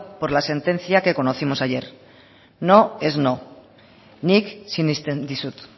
por la sentencia que conocimos ayer no es no nik sinesten dizut